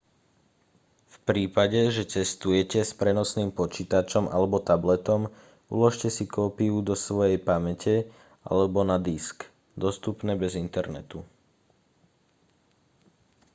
v prípade že cestujete s prenosným počítačom alebo tabletom uložte si kópiu do svojej pamäte alebo na disk dostupné bez internetu